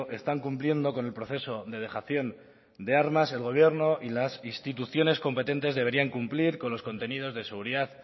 están cumpliendo con el proceso de dejación de armas el gobierno y las instituciones competentes deberían cumplir con los contenidos de seguridad